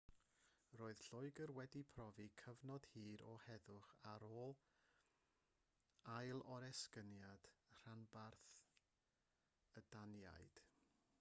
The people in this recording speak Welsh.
roedd lloegr wedi profi cyfnod hir o heddwch ar ôl ailoresygniad rhanbarth y daniaid